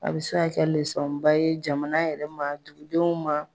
A bi se kɛ ye jamana yɛrɛ ma dugudenw ma